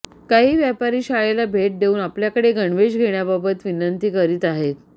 काही व्यापारी शाळेला भेट देऊन आपल्याकडे गणवेश घेण्याबाबत विनंती करीत आहेत